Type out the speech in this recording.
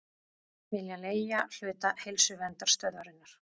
Vilja leigja hluta Heilsuverndarstöðvarinnar